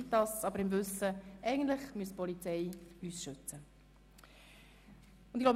Dies jedoch im Wissen darum, dass uns eigentlich die Polizei schützen müsste.